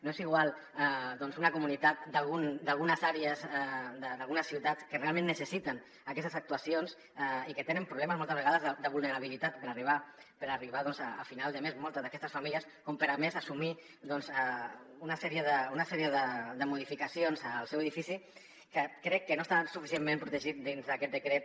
no és igual doncs una comunitat d’algunes àrees d’algunes ciutats que realment necessiten aquestes actuacions i que tenen problemes moltes vegades de vulnerabilitat per arribar a final de mes moltes d’aquestes famílies com per a més assumir una sèrie de modificacions al seu edifici que crec que no està suficientment protegit dins d’aquest decret